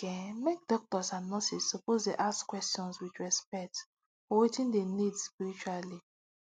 like eh make doctors and nurses suppose dey ask question with respect for wetin dem need spiritually